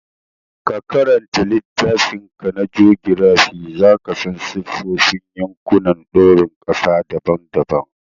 Ka karanta littafinka na jogirafi, za ka san siffofin yankunan doron ƙasa daban-daban.